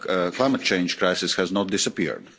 climate change crisis has not disappeared.